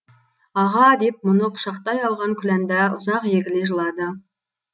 аға деп мұны құшақтай алған күләнда ұзақ егіле жылады